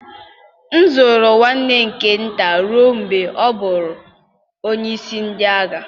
M zụrụ nwanne m nke nta ruo mgbe ọ ghọrọ onyeisi ndị agha.